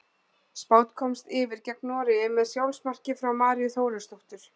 Spánn komst yfir gegn Noregi með sjálfsmarki frá Maríu Þórisdóttur.